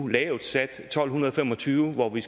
lavt sat tolv fem og tyve hvor vi